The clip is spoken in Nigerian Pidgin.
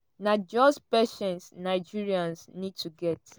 na just patience nigerians need to get.